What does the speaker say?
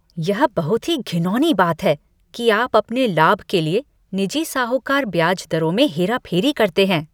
यह बहुत ही घिनौनी बात है कि अपने लाभ के लिए निजी साहूकार ब्याज दरों में हेराफेरी करते हैं।